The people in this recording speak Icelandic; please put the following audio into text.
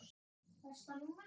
Besta númer?